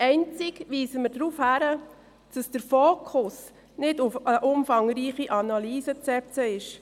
Einzig weisen wir darauf hin, dass der Fokus nicht auf eine umfangreiche Analyse zu setzen ist.